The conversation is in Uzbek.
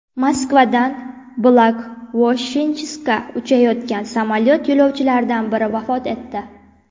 Moskvadan Blagoveshchenskka uchayotgan samolyot yo‘lovchilaridan biri vafot etdi.